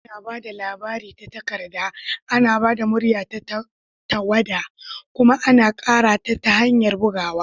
Ana ba da labari ta takarda, ana ba da murya ta tawada, kuma ana ƙara ta ta hanyar bugawa.